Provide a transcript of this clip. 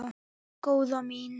Nei, góða mín.